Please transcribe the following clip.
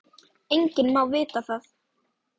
Enginn má það vita.